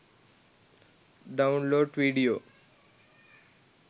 download vedio